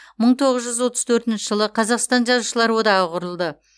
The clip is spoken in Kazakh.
мың тоғыз жүз отыз төртінші жылы қазақстан жазушылар одағы құрылды